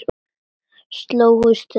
Slógust þið?